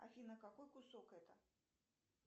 афина какой кусок это